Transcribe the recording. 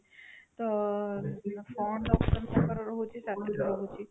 ତ କଣ option ତାଙ୍କର ରହୁଛି ରହୁଛି